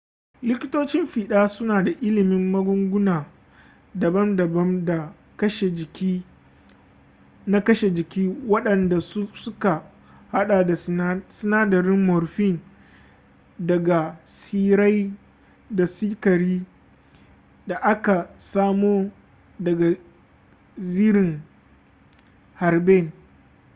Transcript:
likitocin fiɗa suna da ilimin magunguna daban-daban na kashe jiki wadanda suka hada da sinadarin morphine daga tsirrai da sikari da aka samo daga zirin herbane